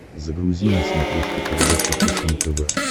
загрузи на смотрешке передачу фэшен тв